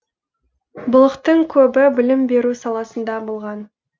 былықтың көбі білім беру саласында болған